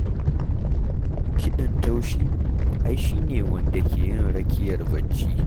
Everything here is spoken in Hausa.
Kiɗan taushi ai shi ne wanda ke yin rakiyar bacci.